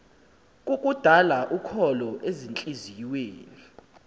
kukudala ukholo ezintliziyweni